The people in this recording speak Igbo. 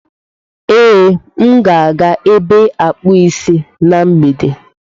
Ee, m ga-aga ebe a akpụ isi na mgbede.